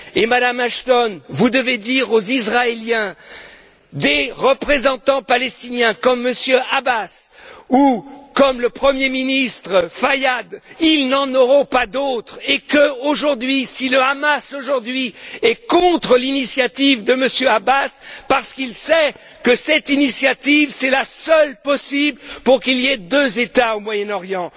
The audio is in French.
Madame Ashton, vous devez dire aux Israéliens que des représentants palestiniens comme Monsieur Abbas ou comme le Premier ministre Fayyad, ils n'en auront pas d'autres et que, aujourd'hui, si le Hamas est contre l'initiative de Monsieur Abbas, c'est parce qu'il sait que cette initiative est la seule possible pour qu'il y ait deux États au Moyen Orient.